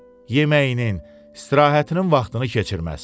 Yeməyinin, istirahətinin vaxtını keçirməz.